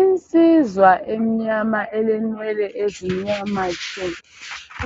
Insizwa emnyama elenwele ezimnyama tshu